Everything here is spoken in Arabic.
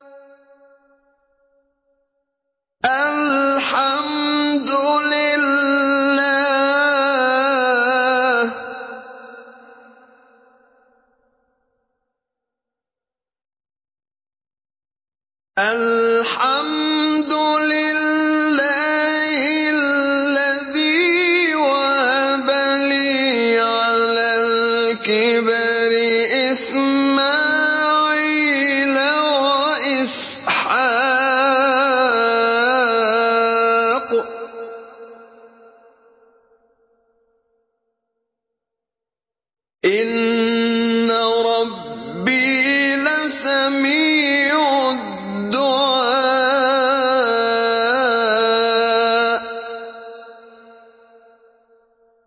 الْحَمْدُ لِلَّهِ الَّذِي وَهَبَ لِي عَلَى الْكِبَرِ إِسْمَاعِيلَ وَإِسْحَاقَ ۚ إِنَّ رَبِّي لَسَمِيعُ الدُّعَاءِ